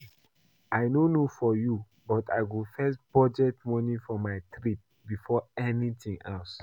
I no know for you but I go first budget money for my trip before anything else